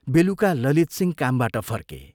बेलुका ललितसिंह कामबाट फर्के।